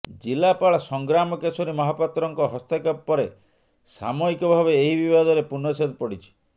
ଜିଲ୍ଲାପାଳ ସଂଗ୍ରାମ କେଶରୀ ମହାପାତ୍ରଙ୍କ ହସ୍ତକ୍ଷେପ ପରେ ସାମୟିକ ଭାବେ ଏହି ବିବାଦରେ ପୂର୍ଣ୍ଣଚ୍ଛେଦ ପଡିଛି